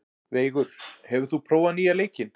Veigur, hefur þú prófað nýja leikinn?